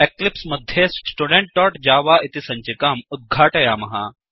Eclipse मध्ये studentजव इति सञ्चिकाम् उद्घाटयामः